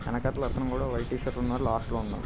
వెనకాతల అతను కూడా వైట్ టి-షర్ట్ లో ఉన్నారు. లాస్ట్ లో ఉన్నారు.